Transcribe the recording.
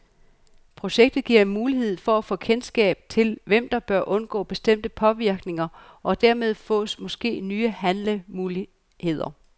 Projektet giver mulighed for at få kendskab til, hvem der bør undgå bestemte påvirkninger, og dermed fås måske nye handlemuligheder.